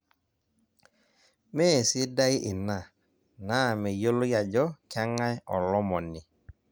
Meesidai ina naa meyioloi ajo keng'ae olomoni.